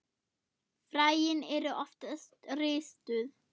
Fræin eru oft ristuð.